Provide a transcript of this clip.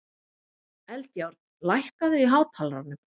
Eldjárn, lækkaðu í hátalaranum.